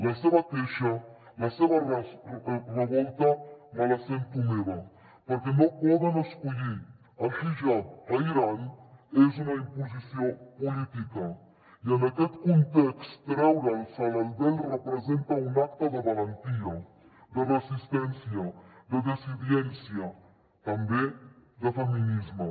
la seva queixa la seva revolta me la sento meva perquè no poden escollir el hijab a l’iran és una imposició política i en aquest context treure’s el vel representa un acte de valentia de resistència de dissidència també de feminisme